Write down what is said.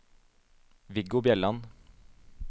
Viggo Bjelland